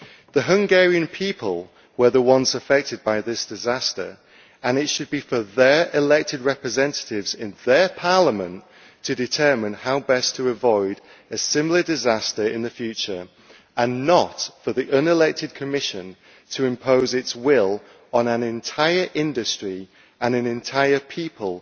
The Hungarian people were the ones affected by this disaster, and it should be for their elected representatives in their parliament to determine how best to avoid a similar disaster in the future, and not for the unelected Commission to impose its will on an entire industry and an entire people,